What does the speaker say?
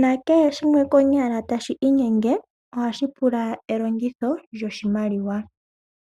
nakehe shimwe konyala tashi inyenge ohashipula elongitho lyo shimaliwa.